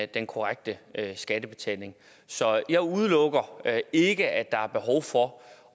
den korrekte skattebetaling så jeg udelukker ikke at der er behov for